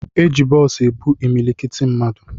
E ji bọọsu ebu imilikiti mmadụ.